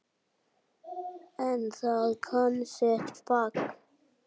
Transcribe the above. En það kann sitt fag.